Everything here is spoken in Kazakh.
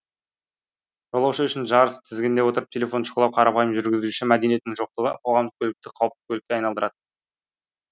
жолаушы үшін жарыс тізгінде отырып телефон шұқылау қарапайым жүргізуші мәдениетінің жоқтығы қоғамдық көлікті қауіпті көлікке айналдырады